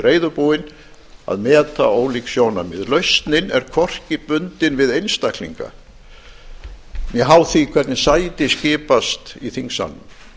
reiðubúin að meta ólík sjónarmið lausnin er hvorki bundin við einstaklinga né háð því hvernig sæti skipast í þingsalnum